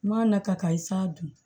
N'a nata i sa dun